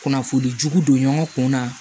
Kunnafoni jugu don ɲɔgɔn kun na